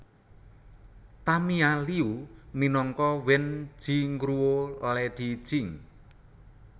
Tamia Liu minangka Wen Jingruo Lady Jing